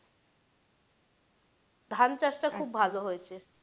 ধান চাষ টা খুব ভালো হয়েছে।